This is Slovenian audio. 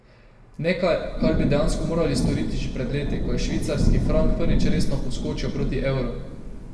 Nekaj, kar bi dejansko morali storiti že pred leti, ko je švicarski frank prvič resno poskočil proti evru.